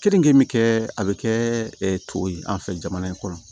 Keninke kɛ a bɛ kɛ tɔ ye an fɛ jamana in kɔnɔ